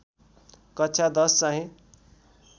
कक्षा १० चाहिँ